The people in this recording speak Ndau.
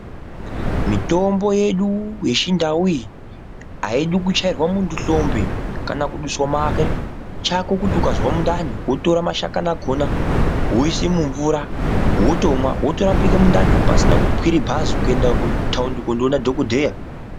Mitombo yedu iyi yechiNdau iyi haidi kuchaira munhu hlombe chako kuti ukazwa mundani wotora mashakani akona woisa mumvura wotomwa wotorapika mundani pasina kukwira bhazi kuenda kutaundi koona dhokodheya